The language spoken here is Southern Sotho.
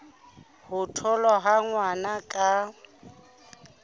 ho tholwa ha ngwana ka